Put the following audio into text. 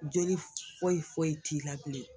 Joli foyifoyi t'i la bilen.